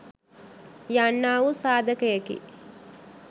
යන්නා වූ සාධකයකි.